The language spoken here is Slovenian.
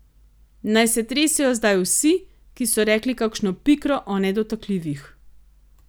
Naj se tresejo zdaj vsi, ki so rekli kakšno pikro o nedotakljivih.